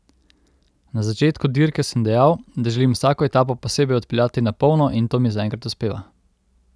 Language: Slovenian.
Na začetku dirke sem dejal, da želim vsako etapo posebej odpeljati na polno in to mi zaenkrat uspeva.